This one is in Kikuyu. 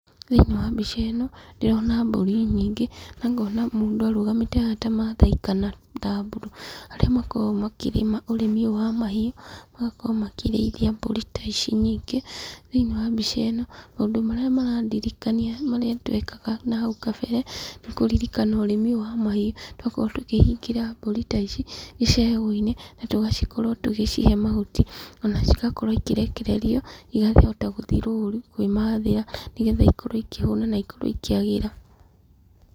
Thĩiniĩ wa mbica ĩno, ndĩrona mbũri nyingĩ, na ngona mũndũ arũgamĩte haha tarĩ maathai kana thamburu, arĩa makoragwo makĩrĩma ũrĩmi ũyũ wa mahiũ, magakorwo makĩrĩithia mbũri ta ici nyingĩ, thĩiniĩ wa mbica ĩno, maũndũ marĩa marandirikania marĩa twekaga hau kambere kũririkana ũrĩmi ũyũ wa mahiũ, nĩ twa koragwo tũkĩhingĩra mbũri ta ici icegũ-inĩ na tũgakorwo tũgĩcihe mahut,,i ona cigakorwo igĩkĩrekererio, ikahota gũthiĩ rũrũ kwĩmathĩra nĩgetha ikĩhote kwĩmathĩra na ikorwo ikĩhũna na ikĩagĩra.